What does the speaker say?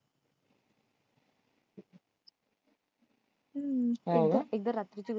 हम्म एकदा एकदा रात्रीची गोष्ठ